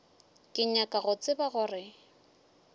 ke nyaka go tseba gore